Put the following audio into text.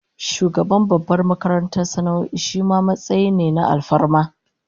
Shugaban babbar makarantar sana'o'i shima matsayi ne na alfarma